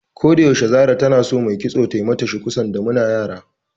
Ko yaushe Zahra tana so mai kitso tai mata shuku, sanda muna yara.